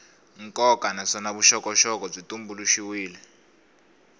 nkoka naswona vuxokoxoko byi tumbuluxiwile